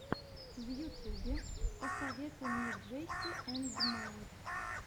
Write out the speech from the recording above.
в ютюбе посоветуй мне джесси энд майк